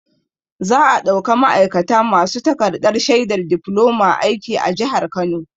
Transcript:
Za'a ɗauka ma'aikata masu takarɗar shaidar difloma aiki a jihar Kano.